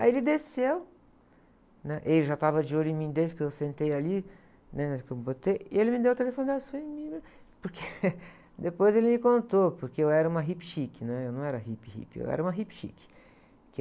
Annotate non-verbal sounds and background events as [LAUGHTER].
Aí ele desceu, né? E ele já estava de olho em mim desde que eu sentei ali, né? Que eu botei. E ele me deu o telefone dele, assim. [UNINTELLIGIBLE] Porque, [LAUGHS] depois ele me contou, porque eu era uma hippie chique, né? Eu não era hippie, hippie, eu era uma hippie chique.